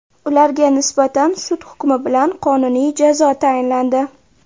Ularga nisbatan sud hukmi bilan qonuniy jazo tayinlandi.